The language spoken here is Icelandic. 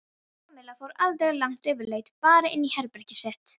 Kamilla fór aldrei langt yfirleitt bara inn í herbergið sitt.